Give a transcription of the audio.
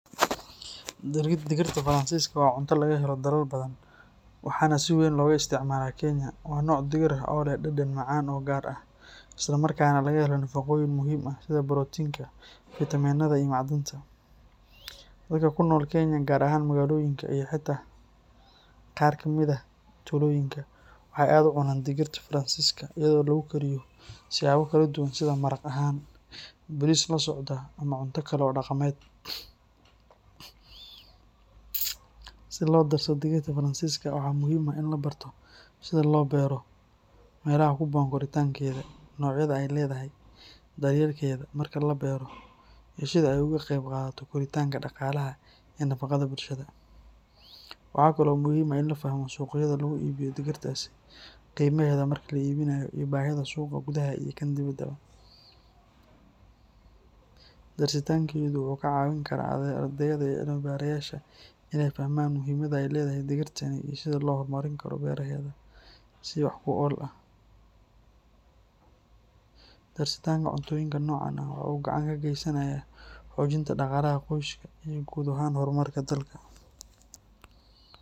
Digirta Faransiiska waa cunto laga helo dalal badan, waxaana si weyn looga isticmaalaa Kenya. Waa nooc digir ah oo leh dhadhan macaan oo gaar ah, isla markaana laga helo nafaqooyin muhiim ah sida borotiinka, fiitamiinada iyo macdanta. Dadka ku nool Kenya gaar ahaan magaalooyinka iyo xitaa qaar ka mid ah tuulooyinka, waxay aad u cunaan digirta Faransiiska iyadoo lagu kariyo siyaabo kala duwan sida maraq ahaan, bariis la socda ama cunto kale oo dhaqameed. Si loo darso digirta Faransiiska, waxaa muhiim ah in la barto sida loo beero, meelaha ku habboon koritaankeeda, noocyada ay leedahay, daryeelkeeda marka la beero iyo sida ay uga qayb qaadato koritaanka dhaqaalaha iyo nafaqada bulshada. Waxa kale oo muhiim ah in la fahmo suuqyada lagu iibiyo digirtaasi, qiimaheeda marka la iibinayo iyo baahida suuqa gudaha iyo kan dibadda. Darsitaankeedu wuxuu ka caawin karaa ardayda iyo cilmi-baarayaasha in ay fahmaan muhiimadda ay leedahay digirtani iyo sida loo horumarin karo beeraheeda si wax ku ool ah. Darsitaanka cuntooyinka noocan ah waxa uu gacan ka geysanayaa xoojinta dhaqaalaha qoysaska iyo guud ahaan horumarka dalka.